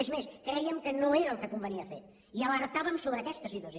és més crèiem que no era el que convenia fer i alertàvem sobre aquesta situació